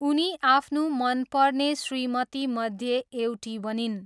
उनी आफ्नो मनपर्ने श्रीमतीमध्ये एउटी बनिन्।